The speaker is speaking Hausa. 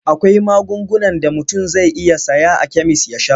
Akwai magungunan da mutum zai iya saya a kemis ya sha.